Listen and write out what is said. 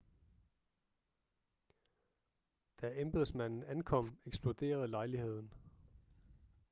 da embedsmanden ankom eksploderede lejligheden